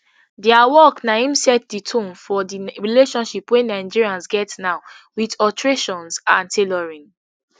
dia work na im set di tone for di relationship wey nigerians get now wit alterations and tailoring